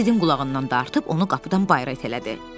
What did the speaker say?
O Sidin qulağından dartıb onu qapıdan bayıra itələdi.